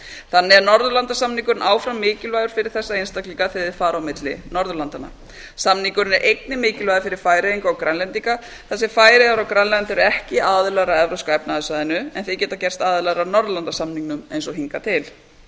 þannig er norðurlandasamningurinn áfram mikilvægur fyrir þessa einstaklinga þegar þeir fara á milli norðurlandanna samningurinn er einnig mikilvægur fyrir færeyinga og grænlendinga þar sem færeyjar og grænland eru ekki aðilar að evrópska efnahagssvæðinu en geta gerst aðilar að norðurlandasamningnum eins og hingað til